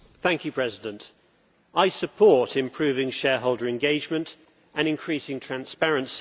Mr President, I support improving shareholder engagement and increasing transparency.